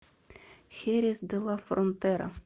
херес де ла фронтера